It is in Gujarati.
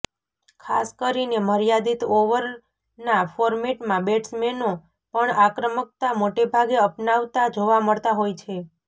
ખાસ કરીને મર્યાદીત ઓવરના ફોર્મેટમાં બેટ્સમેનો પણ આક્રમકતા મોટેભાગે અપનાવતા જોવા મળતા હોય છે